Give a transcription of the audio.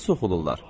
Hara soxulurlar?